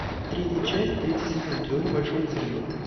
третья часть третий сезон теория большого взрыва